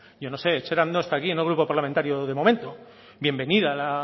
yo no sé etxerat no está aquí no es grupo parlamentario de momento bienvenida la